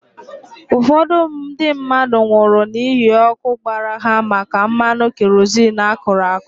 Ụfọdụ ndị mmadụ nwụrụ n'ihi ọkụ gbara ha maka mmanụ kerozin akụrụ àkụ́.